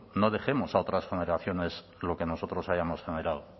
no dejemos a otras generaciones lo que nosotros hayamos generado